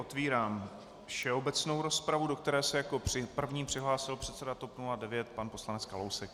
Otevírám všeobecnou rozpravu, do které se jako první přihlásil předseda TOP 09 pan poslanec Kalousek.